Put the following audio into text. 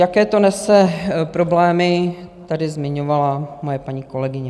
Jaké to nese problémy, tady zmiňovala moje paní kolegyně.